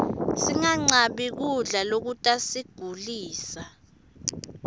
sinqabli kubla lokutasigulisa